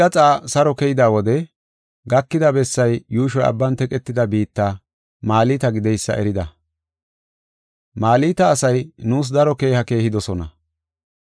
Malta asay nuus daro keeha keehidosona. Iri bukiya gishonne meegiya gisho tama eethidi nuna ubbaa mokidosona.